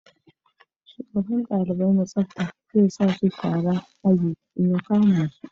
Shugaban dalibai na tsafta zai sa mu sharan aji in ya kama mu